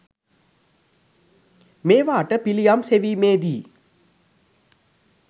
මේවාට පිළියම් සෙවීමේ දී